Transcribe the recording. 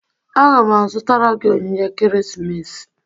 Aga m azụtara gị onyinye ekeresimesi